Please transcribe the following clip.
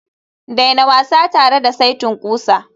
daina wasa tare da saitin ƙusa